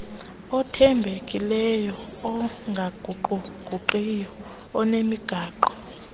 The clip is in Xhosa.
othembekileyo ongaguquguqiyo nonemigaqo